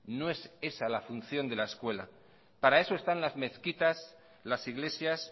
no es esa la función de la escuela para eso están las mezquitas las iglesias